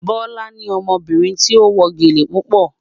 Bọ́lá ni ọmọbìnrin tí ó wọ gẹ́lẹ̀ púpà